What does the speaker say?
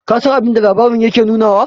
ka San abinda labarin yake nunawa?